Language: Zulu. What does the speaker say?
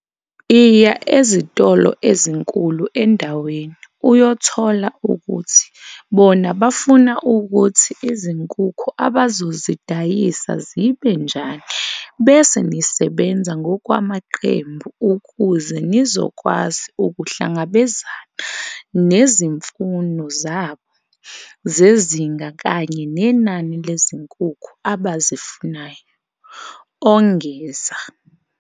"Iya ezitolo ezinkulu endaweni uyothola ukuthi bona bafuna ukuthi izinkukhu abazozidayisa zibe njani bese nisebenza ngokwamaqembu ukuze nizokwazi ukuhlangabezana nezi mfuno zabo zezinga kanye nenani lezinkukhu abazifunayo," ongeza.